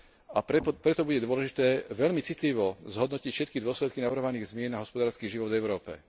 A preto bude dôležité veľmi citlivo zhodnotiť všetky dôsledky navrhovaných zmien na hospodársky život v Európe.